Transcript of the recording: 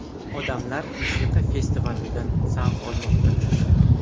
Odamlar musiqa festivalidan zavq olmoqda.